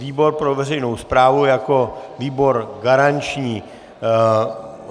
Výbor pro veřejnou správu jako výbor garanční.